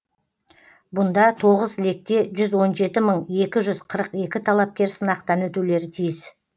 бұнда тоғыз лекте жүз он жеті мың екі жүз қырық екі талапкер сынақтан өтулері тиіс